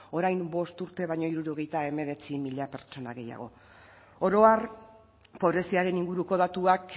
orain bost urte baino hirurogeita hemeretzi mila gehiago oro har pobreziaren inguruko datuak